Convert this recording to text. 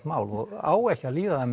mál og á ekki að líða það